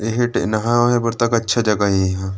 एहा टे नहाए वहाए बर तक अच्छा जगह ए एहा।